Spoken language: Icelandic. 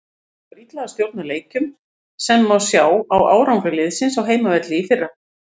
Gengur illa að stjórna leikjum sem má sjá á árangri liðsins á heimavelli í fyrra.